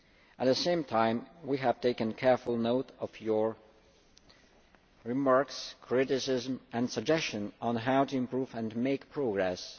path. At the same time, we have taken careful note of your remarks, criticisms and suggestions on how to improve and make progress.